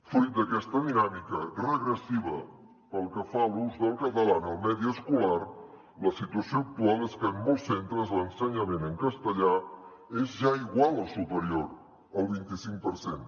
fruit d’aquesta dinàmica regressiva pel que fa a l’ús del català en el medi escolar la situació actual és que en molts centres l’ensenyament en castellà és ja igual o superior al vint i cinc per cent